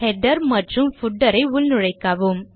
header மற்றும் footer ஐ உள்நுழைக்கவும்